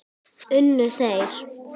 Unnu þeir?